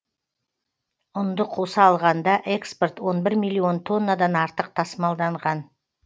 ұнды қоса алғанда экспорт он бір миллион тоннадан артық тасымалданған